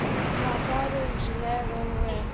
нотариус жиляева лв